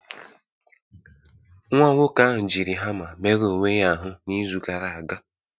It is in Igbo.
Nwa nwoke ahụ jiri hama merụọ onwe ya ahụ n'izu gara aga